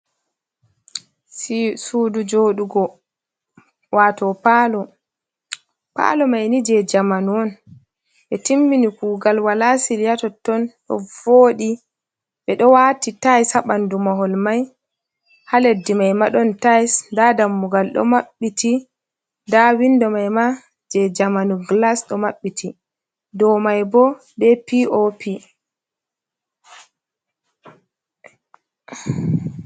Sudu joɗugo wato palo, palo maini je jamanu on ɓe timini kugal wala sili ha totton ɗo voɗi, ɓe ɗo wati tilse ha ɓanɗu mahol mai, ha leddi mai ma ɗon tais, nda dammugal ɗo maɓɓiti, nda windo mai ma je jamanu glas ɗo maɓɓiti, dou mai bo be pop.